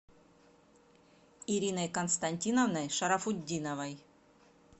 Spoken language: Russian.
ириной константиновной шарафутдиновой